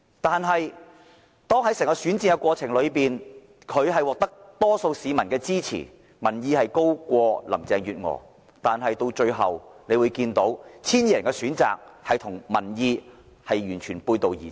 但是，在整個選戰過程中，他雖然獲得多數市民的支持，民望高於林鄭月娥，但那 1,200 人的最後選擇卻與民意完全背道而馳。